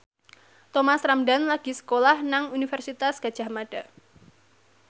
Thomas Ramdhan lagi sekolah nang Universitas Gadjah Mada